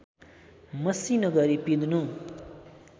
मसिनो गरी पिंध्नु